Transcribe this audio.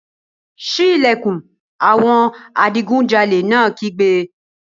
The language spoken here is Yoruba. Sí ìlẹ̀kùn! Àwọn adigunjalè náà kígbe.